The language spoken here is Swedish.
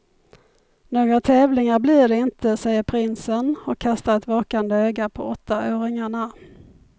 Några tävlingar blir det inte, säger prinsen och kastar ett vakande öga på åttaåringarna.